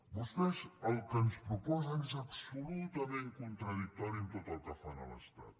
vostès el que ens proposen és absolutament contradictori amb tot el que fan a l’estat